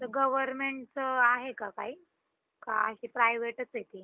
भारतामध्ये आयोजित केले जाणारे T-twentyIPL दुनियाभरात खूप लोकप्रिय आहे आणि तसंच खूप प्रसिद्ध आहे.